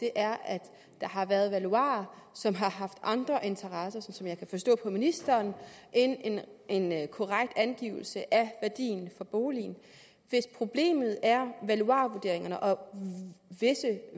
er at der har været valuarer som har haft andre interesser sådan kan jeg forstå ministeren end en end en korrekt angivelse af værdien for boligen hvis problemet er valuarvurderingerne og visse